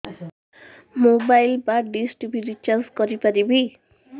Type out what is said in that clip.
mobile ବା dish TV recharge କରି ପାରିବି